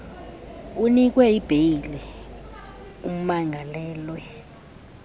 unikwe ibheyile umangalelwe